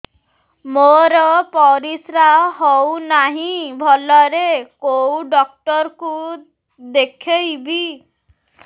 ମୋର ପରିଶ୍ରା ହଉନାହିଁ ଭଲରେ କୋଉ ଡକ୍ଟର କୁ ଦେଖେଇବି